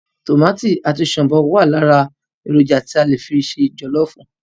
Tòmátò àti shombọ wá lára èròjà tí a fi ń se jọlọfu